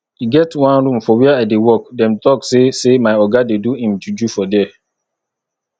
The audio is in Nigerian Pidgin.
e get one room for where i dey work dem talk say say my oga dey do im juju for there